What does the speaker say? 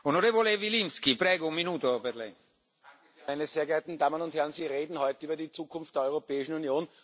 Herr Präsident, meine sehr geehrten Damen und Herren! Sie reden heute über die Zukunft der Europäischen Union.